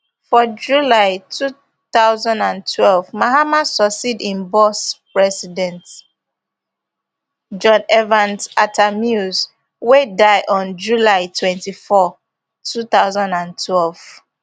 for july two thousand and twelve mahama succeed im boss president john evans atta mills wey die on july twenty-four two thousand and twelve